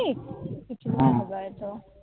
হবে হয় তো